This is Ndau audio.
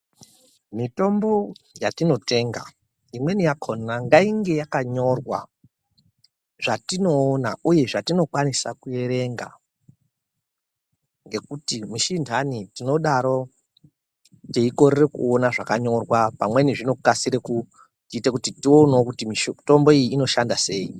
Mitombo yatinotenga imweni yakhona ngainge yakanyorwa zvatinoona uye zvatinokwanisa kuerenga. Ngekuti misi inhani tinodaro teikorera kuona zvakanyorwa pamweni zvinokasira kuti tionewo mitombo iyi inoshanda sei.